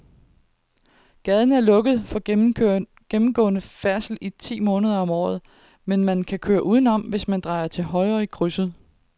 Gaden er lukket for gennemgående færdsel ti måneder om året, men man kan køre udenom, hvis man drejer til højre i krydset.